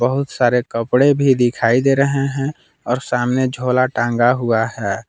बहुत सारे कपड़े भी दिखाई दे रहे हैं और सामने झोला टंगा हुआ है।